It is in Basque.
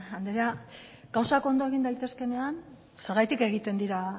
anderea gauzak ondo egin daitezkeenean zergatik egiten dira